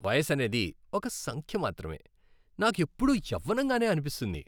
వయసనేది ఒక సంఖ్య మాత్రమే. నాకెప్పుడూ యవ్వనంగానే అనిపిస్తుంది.